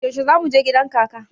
Yaushe za mu je gidan kaka?